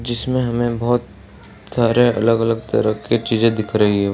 जिसमे हमे बहोत तरह अलग-अलग तरह के चीजे दिख रही है।